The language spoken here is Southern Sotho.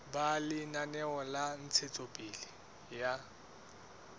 ba lenaneo la ntshetsopele ya